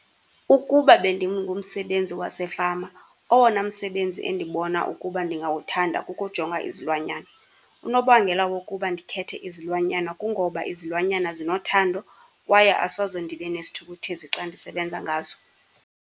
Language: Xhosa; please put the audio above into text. Ukuba bendingumsebenzi wasefama, owona msebenzi endibona ukuba ndingawuthanda kukujonga izilwanyana. Unobangela wokuba ndikhethe izilwanyana kungoba izilwanyana zinothando kwaye asoze ndibe nesithukuthezi xa ndisebenza ngazo.